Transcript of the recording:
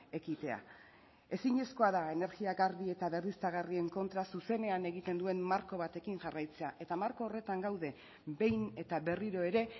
ekitea ezinezkoa da energia garbi eta berriztagarrien kontra zuzenean egiten duen marko batekin jarraitzea eta marko horretan gaude behin eta berriro ere